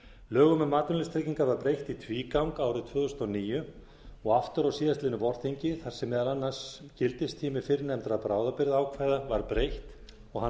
lögum um atvinnuleysistryggingar var breytt í tvígang árið tvö þúsund og níu og aftur á síðastliðnu vorþingi þar sem meðal annars gildistíma fyrrnefndra bráðabirgðaákvæða var breytt og hann